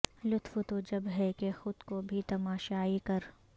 لطف تو جب ہے کہ خود کو بھی تماشائی کر